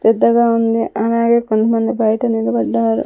పెద్దగా ఉంది అలాగే కొంతమంది బయట నిలబడ్డారు.